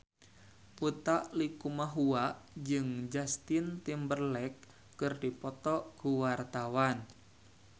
Utha Likumahua jeung Justin Timberlake keur dipoto ku wartawan